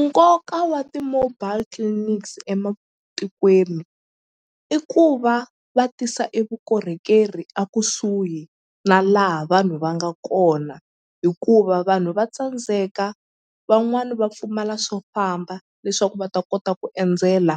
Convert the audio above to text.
Nkoka wa ti-mobile clinics ematikweni i ku va va tisa e vukorhokeri a kusuhi na laha vanhu va nga kona hikuva vanhu va tsandzeka van'wani va pfumala swo famba leswaku va ta kota ku endzela